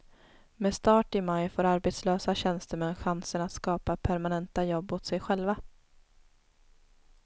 Med start i maj får arbetslösa tjänstemän chansen att skapa permanenta jobb åt sig själva.